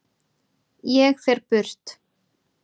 Ég fer burt.